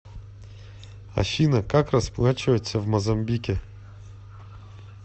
афина как расплачиваться в мозамбике